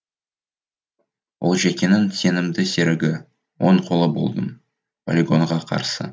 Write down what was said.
олжекеңнің сенімді серігі оң қолы болдым полигонға қарсы